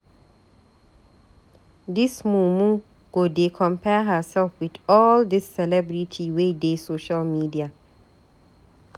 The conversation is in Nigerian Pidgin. Dis mumu go dey compare hersef wit all dis celebrity wey dey social media.